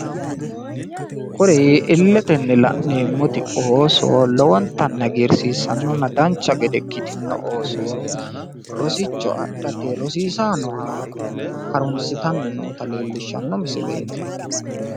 Kuri illetenni la'neemmoti ooso lowonnttanni hagiirsiissannona danchcha gede ikkitinno ooso rosichcho adhate rosiissanni nooha harunssitanni noota leellishshanno misileeti.